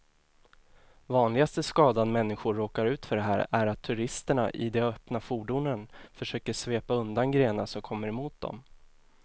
Vanligaste skadan människor råkar ut för här är att turisterna i de öppna fordonen försöker svepa undan grenar som kommer mot dem.